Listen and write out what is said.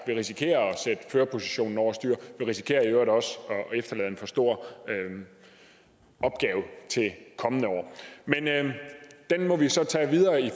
vi risikerer at sætte førerpositionen over styr og vi risikerer i øvrigt også at efterlade en for stor opgave til kommende år men den må vi så tage videre i